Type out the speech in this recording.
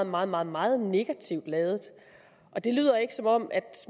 meget meget meget negativt ladet og det lyder ikke som om